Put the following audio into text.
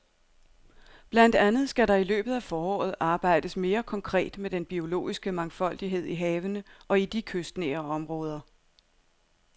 Blandt andet skal der i løbet af foråret arbejdes mere konkret med den biologiske mangfoldighed i havene og i de kystnære områder.